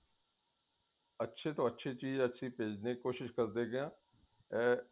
ਅੱਛੀ ਤੋਂ ਅੱਛੀ ਚੀਜ਼ ਭੇਜਣ ਦੀ ਕੋਸ਼ਿਸ਼ ਕਰਦੇ ਹਾਂ ਅਮ